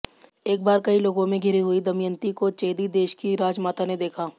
एक बार कई लोगों में घिरी हुई दमयंती को चेदि देश की राजमाता ने देखा